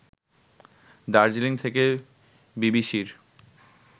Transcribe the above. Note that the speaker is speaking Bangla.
দার্জিলিং থেকে বিবিসির